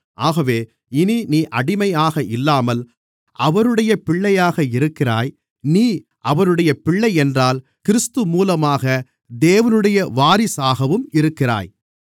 ஆகவே இனி நீ அடிமையாக இல்லாமல் அவருடைய பிள்ளையாக இருக்கிறாய் நீ அவருடைய பிள்ளையென்றால் கிறிஸ்து மூலமாக தேவனுடைய வாரிசாகவும் இருக்கிறாய்